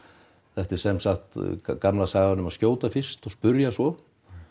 þetta er semsagt gamla sagan um að skjóta fyrst og spyrja svo